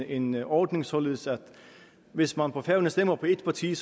en ordning således at hvis man på færøerne stemmer på et parti